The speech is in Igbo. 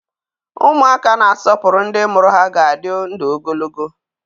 Ụmụaka na-asọpụrụ ndị mụrụ ha ga-adị ndụ ogologo.